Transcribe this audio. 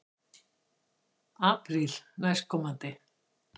Apríl næstkomandi.